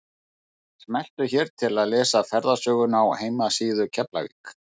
Smelltu hér til að lesa ferðasöguna á heimasíðu Keflavík.